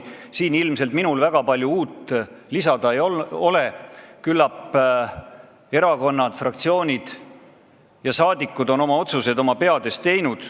Siin ilmselt minul väga palju uut lisada ei ole, küllap on erakonnad, fraktsioonid ja saadikud oma peades otsused teinud.